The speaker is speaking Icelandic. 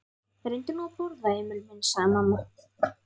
Reyndu nú að borða, Emil minn, sagði mamma.